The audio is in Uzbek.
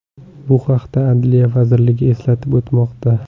Bu haqda Adliya vazirligi eslatib o‘tmoqda .